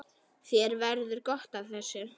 Þér verður gott af þessu